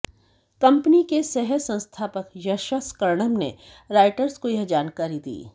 company के सह संस्थापक यशस कर्णम ने रॉयटर्स को यह जानकारी दी